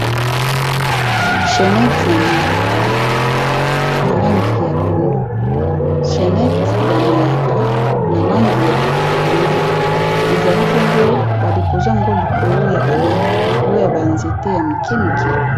Chenette ya mayaka na langi ya pondu ezali bongo, ba deposer yango likolo ya ba nzete ya mike mike .